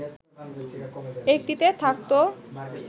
একটিতে থাকতো